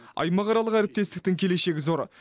аймақаралық әріптестіктің келешегі зор